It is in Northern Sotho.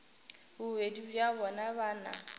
bobedi bja bona ba na